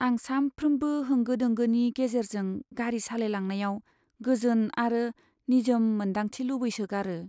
आं सानफ्रोमबो होंगो दोंगोनि गेजेरजों गारि सालायलांनायाव गोजोन आरो निजोम मोनदांथि लुबैसोगारो।